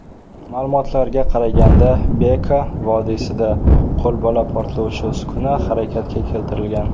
Ma’lumotlarga qaraganda, Beka’ vodiysida qo‘lbola portlovchi uskuna harakatga keltirilgan.